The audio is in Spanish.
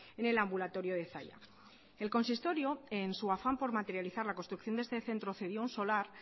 en el ambulatorio de zalla el consistorio en su afán por materializar la construcción de este centro cedió un solar